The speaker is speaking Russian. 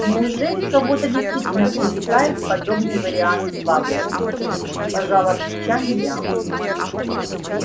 неужели кого-то действительно привлекает подобный вариант славы пожала плечами я